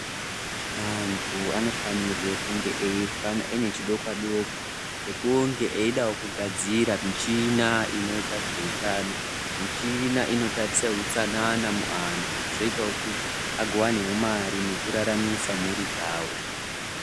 Antu anofanirwe kunge aine chidokwa-dokwa chekunge eidawo kugadzira michina inoita zveutano. Michina inoitarisa utsanana muantu zvinoitawo kuti agowanawo mari nekuraramisa mhuri dzawo.